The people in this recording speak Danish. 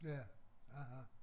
Ja aha